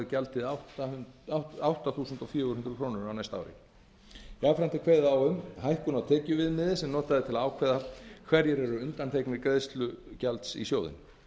gjaldið átta þúsund fjögur hundruð krónur jafnframt er kveðið á um hækkun á tekjuviðmiði sem notað er til að ákveða hverjir eru undanþegnir greiðslu gjaldsins í sjóðinn